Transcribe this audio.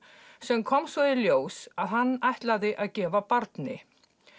sem kom svo í ljós að hann ætlaði að gefa barni